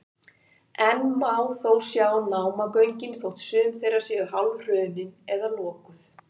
enn má þó sjá námagöngin þótt sum þeirra séu hálfhrunin eða lokuð